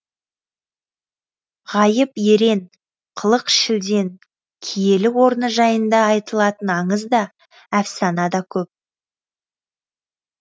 ғайып ерен қылық шілден киелі орны жайында айтылатын аңыз да әфсана да көп